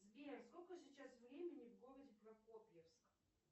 сбер сколько сейчас времени в городе прокопьевск